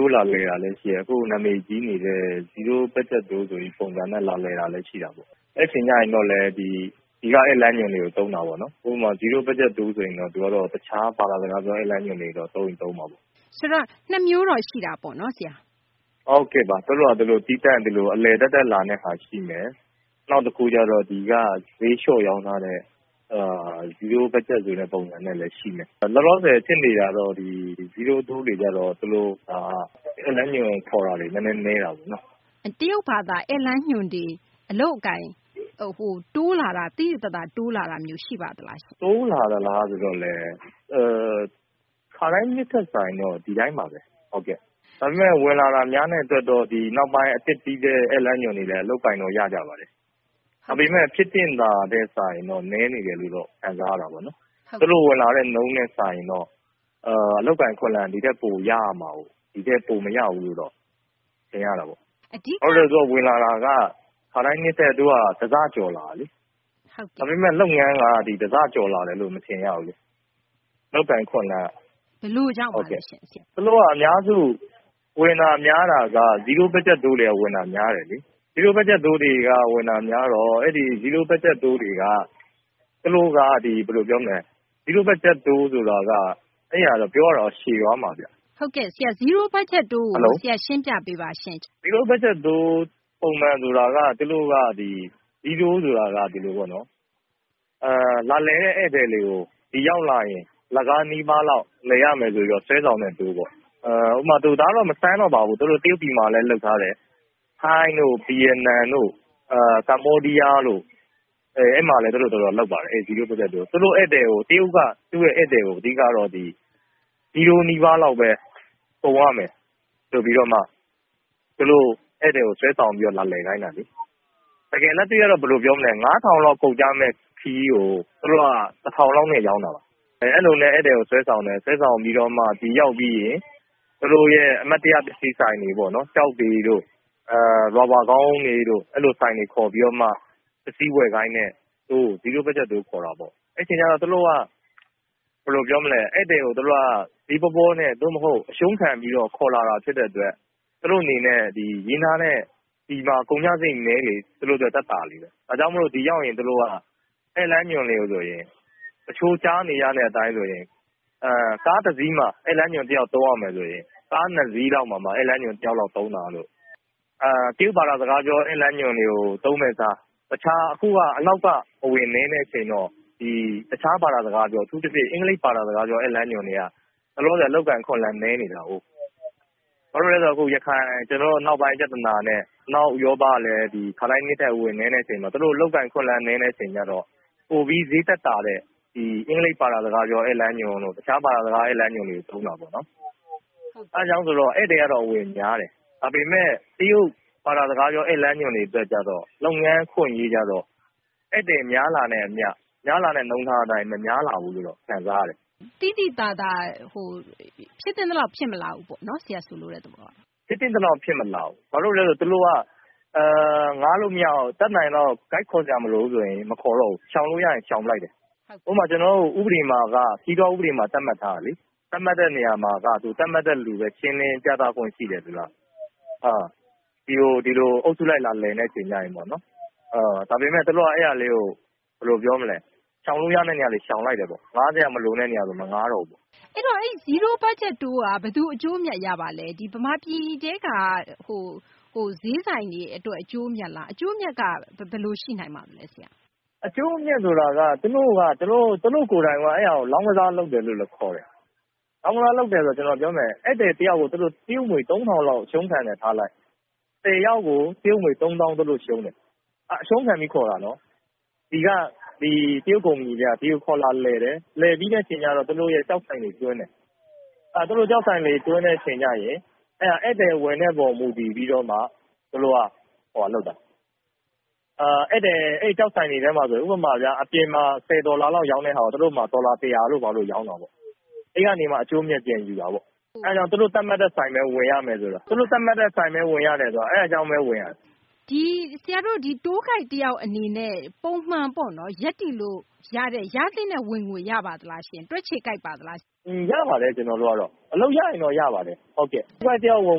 ိုး လာလည်တာလည်း ရှိတယ်။ အခု နာမည်ကြီးနေတဲ့ Zero Budget Tour ဆိုပြီး လာလည်တာလည်း ရှိတာပေါ့။ အဲဒီ အချိန်ကျရင်တော့လည်း ဒီက ဧည့်လမ်းညွှန်တွေကို သုံးတာပေါ့နော်။ ဥပမာ Zero Budget Tour ဆိုရင်တော့ တခြား ဘာသာစကားပြော ဧည့်လမ်းညွှန်တွေ သုံးချင်လည်း သုံးမှာပေါ့။ ဆိုတော့ ၂ မျိုးတော့ ရှိတာပေါ့နော် ဆရာ။ ဟုတ်ကဲ့ပါ။ သူတို့ဟာ သူတို့ သပ်သပ် အလည်သက်သက် လာတဲ့ဟာ ရှိမယ်။ နောက်တခုကတော့ ဒီက ဈေးလျှော့ရောင်းထားတဲ့ Zero Budget ဆိုတဲ့ ပုံစံနဲ့လည်း ရှိမယ်။ လောလောဆယ် ဖြစ်နေတာကတော့ Zero Tour တွေက သူတို့က ဧည့်လမ်းညွှန်ခေါ်တာတွေ နည်းနည်း နည်းတာပေါ့နော်။ တရုတ်ဘာသာ ဧည့်လမ်းညွှန်တွေ အလုပ်အကိုင် သိသိသာသာ တိုးလာတာ ရှိပါလား။ တိုးလာသလား ဆိုတော့လည်း ခါတိုင်းနှစ်ထက် စာရင်တော့ ဒီတိုင်းပါဘဲ။ ဒါပေမယ့် ဝင်လာတာ များတဲ့ အတွက်တော့ နောက်ပိုင်း အသစ် ဧည့်လမ်းညွှန်တွေလည်း အလုပ်အကိုင်တော့ ရကြပါတယ်။ ဒါပေမယ့် ဖြစ်သင့်တာထက် စာရင်တော့ နည်းနေတယ်လို့ ခံစားရတာပေါ့နော်။ သူတို့ ဝင်လာတဲ့ နှုန်းနဲ့ စာရင်တော့ အလုပ်အကိုင် အခွင့်အလမ်းက ဒီထက်ပို ရရမှာကိုး။ ဒီထက်ပို မရဘူးလို့တော့ ထင်ရတာပေါ့။ ဝင်လာတာက ခါတိုင်းနှစ်ထက် တဆ ကျော်လာတာလေ။ ဒါပေမယ့် လုပ်ငန်းက တဆ ကျော်လာတယ်လို့ မထင်ရဘူး။ အလုပ်အကိုင် အခွင့်အလမ်းက။ ဘယ်လိုကြောင့်ပါလဲရှင့်။ သူတို့က အများစုဝင်တာ များတာက Zero Budget Tour တွေက ဝင်တာ များတယ်လေ။ Zero Budget Tour တွေက ဝင်တာများတော့ အဲဒီ Tour တွေက သူတို့က ဘယ်လို ပြောမလဲ။ Zero Budget Tour ဆိုတာက ပြောရရင်တော့ ရှည်သွားမယ်။ ဟုတ်ကဲ့ ဆရာ။ Zero Budget Tour ဆိုတာကို ရှင်းပြပေးပါရှင့်။ Zero Budget Tour ဆိုတာက လာလည်တဲ့ ဧည့်သည်တွေကို ဒီရောက်လာရင် အလကား နီးပါးလောက် လည်ရမယ် ဆိုပြီး ဆွဲဆောင်တဲ့ Tour ပေါ့။ ဒါတော့ မဆန်းတော့ပါဘူး။ သူတို့ တရုတ်ပြည်မှာလည်း လုပ်ထားတယ်။ ထိုင်းတို့ ဗီယက်နမ်တို့ ကမ္ဘောဒီးယားတို့ အဲဒီမှာလည်း လုပ်ပါတယ်။ တရုတ်က သူ့ရဲ့ ဧည့်သည်ကို အဓိကတော့ ဒီ Zero နီးပါးလောက်ဘဲ ကုန်ရမယ် ဆိုပြီးတော့မှ ဧည့်သည်ကို ဆွဲဆောင်ပြီးမှ လာလည်ခိုင်းတာလေ။ တကယ် လက်တွေ့ကတော့ ၅,၀၀၀ လောက် ကုန်ကျမယ့် ခရီးကို သူတို့က ၁,၀၀၀ လောက်နဲ့ ရောင်းတာပါ။ အဲလိုနဲ့ ဧည့်သည်ကို ဆွဲဆောင်တယ်။ ဆွဲဆောင်ပြီးတော့မှ ဒီရောက်ပြီးရင် သူတို့ရဲ့ အမှတ်တရ ပစ္စည်းဆိုင်တွေပေါ့နော်။ ကျောက်တွေတို့ ရာဘာ ခေါင်းအုံးတွေတို့ အဲလို ဆိုင်တွေ ခေါ်ပြီးတော့မှ ပစ္စည်း ဝယ်ခိုင်းတဲ့ Tour ကို Zero Budget Tour ခေါ်တာပေါ့။ အဲဒီအချိန်ရောက်တော့ သူတို့က ဧည့်သည်ကို ဈေးပေါပေါနဲ့ အရှုံးခံ ပြီးတော့ ခေါ်လာတာ ဖြစ်တဲ့ အတွက် သူတို့မှာ ရင်းထားတဲ့ ဒီမှာ ကုန်ကျစာရိတ် နည်းလေ သူတို့ အတွက် သက်သာလေဘဲ။ ဒါကြောင့် ဒီကို ရောက်လာရင် ဧည့်လမ်းညွှန်ဆိုရင် တချို့ ကြားနေရတဲ့ အတိုင်း ဆိုရင် ကားတစီးမှာ ဧည့်လမ်းညွှန် တယောက် သုံးရမယ်ဆိုရင် ကား ၂ စီးလောက်မှာ ဧည့်လမ်းညွှန် တယောက်လောက် သုံးတာတို့ ၊ တရုတ် ဘာသာ စကားပြော ဧည့်လမ်းညွှန်တွေကို သုံးမယ့် အစား - အခုက အနောက် အဝင်နည်းတဲ့ အချိန်တော့ တခြား ဘာသာစကားပြော အထူးသဖြင့် အင်္ဂလိပ် ဘာသာစကားပြော ဧည့်လမ်းညွှန်တွေက လောလောဆယ် အလုပ်အကိုင် အခွင့်အလမ်း နည်းနေတာကိုး။ ဘာလို့လည်း ဆိုတော့ ကျနော်တို့ ရခိုင် အနောက်ပိုင်း ပြသနာနဲ့ အနောက် ဥရောပကလည်း ခါတိုင်းနှစ်ထက် အဝင်နည်းတဲ့ အချိန်မှာ သူတို့ အလုပ်အကိုင် အခွင့်အလမ်း နည်းတဲ့ အချိန်ရောက်တော့ ပိုပြီး ဈေးသက်သာတဲ့ အင်္ဂလိပ်ဘာသာ ဧည့်လမ်းညွှန်တို့ တခြားဘာသာစကား ဧည့်လမ်းညွှန်တို့ သုံးတာပေါ့နော်။ အဲဒါကြောင့် ဧည့်သည်ကတော့ အဝင်များတယ်။ ဒါပေမယ့် တရုတ် ဘာသာစကားပြော ဧည့်လမ်းညွှန်တွေ အတွက်ရောက်တော့ အလုပ်အကိုင် အခွင့်အလမ်းရောက်တော့ ဧည့်သည်များတာနဲ့ အမျှ များလာတဲ့ နှုန်းထားအတိုင်း မများလာဘူးလို့တော့ ခံစားရတယ်။ သိသိသာသာ ဖြစ်သင့်သလောက် ဖြစ်မလာဘူးပေါ့နော် ဆိုလိုတဲ့သဘောက။ ဖြစ်သင့်သလောက် ဖြစ်မလာဘူး။ ဘာဖြစ်လို့လဲ ဆိုတော့ သူတို့က ငှားလို့ မရအောင် တတ်နိုင်သလောက် Guide ခေါ်စရာမလိုဘူးဆိုရင် မခေါ်တော့ဘူး။ ရှောင်လို့ ရရင် ရှောင်ပစ်လိုက်တယ်။ ဥပမာ ကျနော်တို့ ဥပဒေမှာ - ခရီးသွား ဥပဒေမှာ သတ်မှတ်ထားတာလေ သတ်မှတ်ထားတဲ့ လူဘဲ ရှင်းလင်း ပြသခွင့် ရှိတယ်ဆိုတာ ဒီလို အုပ်စုလိုက် လာလည်တဲ့ အချိန်ရောက်ရင် ပေါ့နော်။ ဒါပေမယ့် သူတို့က အဲဒါလေးကို ရှောင်လို့ ရသမျှလေး ရှောင်လိုက်တယ်။ ငှားစရာ မလိုတဲ့ နေရာဆို မငှားတော့ဘူးပေါ့။ အဲဒီတော့ Zero Budget Tour က ဘယ်သူ အကျိုးအမြတ် ရပါလဲ။ မြန်မာပြည်ထဲက ဈေးဆိုင်တွေ အတွက်လား အကျိုးအမြတ်က ဘယ်လို ရှိနိုင်ပါလဲ။ အကျိုးအမြတ် ဆိုတာက သူတို့ ကိုယ်တိုင်က အဲဒါကို လောင်းကစား လုပ်တယ်လို့လည်း ခေါ်တယ်။ လောင်းကစား လုပ်တယ်ဆိုတာ သူတို့ ဧည့်သည် တယောက်ကို တရုတ်ငွေ ၃,၀၀၀ လောက် အရှုံးခံတယ် ထားလိုက်၊ ၁၀ ယောက်ကို ၃၀,၀၀၀ ရှုံးတယ်။ အဲဒါ အရှုံးခံပြီး ခေါ်တာနော်။ ဒီက တရုတ်ကုမ္ပဏီတွေက ဒီကို ခေါ်လာလည်တယ်။ လည်ပြီးတဲ့ အခါရောက်တော့ သူတို့ရဲ့ ကျောက်ဆိုင်တွေ သွင်းတယ်။ သူတို့ ကျောက်ဆိုင်တွေ သွင်းတဲ့ အချိန်ရောက်ရင် ဧည့်သည် ဝင်တဲ့ အပေါ် မူတည်ပြီးတော့မှ သူတို့က အဲဒီ ကျောက်ဆိုင်တွေထဲမှာ ဥပမာ အပြင်မှာ ၁၀ ဒေါ်လာ လောက် ရောင်းတဲ့ဟာကို သူတို့မှာ ဒေါ်လာ ၁၀၀ တို့ ဘာတို့ ရောင်းတာပေါ့။ အဲဒီကနေမှ အကျိုးအမြတ် ပြန်ယူတာပေါ့။ အဲဒါကြောင့် သူတို့ သတ်မှတ်တဲ့ ဆိုင်ဘဲ ဝယ်ရမယ်ဆိုတာ သူတို့ သတ်မှတ်တဲ့ ဆိုင်ဘဲ ဝင်ရတယ်ဆိုတာ အဲဒါကြောင့်ဘဲ ဝင်ရတာ။ Tour Guide တယောက် အနေနဲ့ ပုံမှန်ပေါ့နော် ရသင့်တဲ့ ဝင်ငွေ ရပါသလား။ ရပါတယ် ကျနော်တို့ကတော့။ အလုပ် ရရင်တော့ ရပါတယ်။ Tour Guide တယောက် ဝင်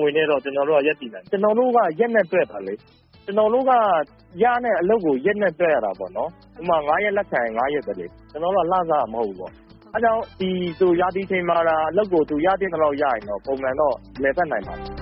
ငွေနဲ့ ကျနော်တို့က ရပ်တည်လို့ ရတယ်။ ကျနော်တို့က ရက်နဲ့ တွက်တာလေ။ ကျနော်တို့က ရတဲ့ အလုပ်ကို ရက်နဲ့ တွက်ရတာပေါ့နော်။ ဥပမာ ၅ ရက် လက်ခံရင် ၅ ရက်ဘဲလေ။ ကျနော်တို့က လစာတော့ မဟုတ်ဘူးပေါ့။ အဲဒါကြောင့် ဒီလို ရာသီချိန်မှာသာ အလုပ်ကို သူရသင့်သလောက် ရရင်တော့ ပုံမှန်တော့ လည်ပတ်နိုင်ပါတယ်။